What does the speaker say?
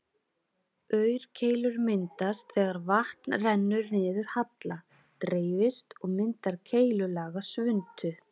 Í mjög mörgum tilfellum eru leyfileg mörk einnig hærri þar en hérlendis.